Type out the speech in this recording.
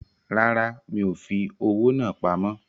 Rárá, mi ò fi owó náà pamọ́